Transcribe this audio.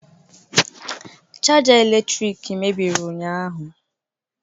Chaja eletrik mebiri ụnyahụ.